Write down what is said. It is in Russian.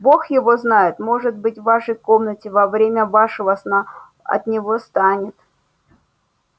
бог его знает может быть в вашей комнате во время вашего сна от него станет